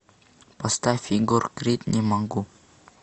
поставь егор крид не могу